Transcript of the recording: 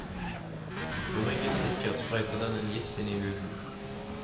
Når myggen stikker, sprøyter den en gift inn i huden.